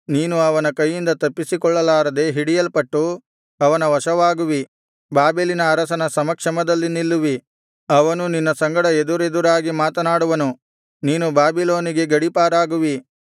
ನೀನು ಅವನ ಕೈಯಿಂದ ತಪ್ಪಿಸಿಕೊಳ್ಳಲಾರದೆ ಹಿಡಿಯಲ್ಪಟ್ಟು ಅವನ ವಶವಾಗುವಿ ಬಾಬೆಲಿನ ಅರಸನ ಸಮಕ್ಷಮದಲ್ಲಿ ನಿಲ್ಲುವಿ ಅವನು ನಿನ್ನ ಸಂಗಡ ಎದುರೆದುರಾಗಿ ಮಾತನಾಡುವನು ನೀನು ಬಾಬಿಲೋನಿಗೆ ಗಡಿ ಪಾರಾಗುವಿ